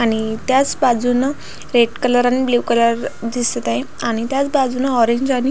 आणि त्याच बाजून रेड कलर आणि ब्ल्यु कलर दिसत आहे आणि त्याच बाजून ऑरेंज आणि--